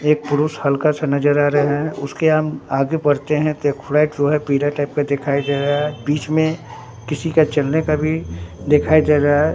एक पुरुस हल्का सा नजर आ रे हैं उसके हम आगे बढ़ते हैं तो एक फ्लैट जो है पीले टाइप का देखाई दे रहा है बीच में किसी का चलने का भी देखाई दे रहा है।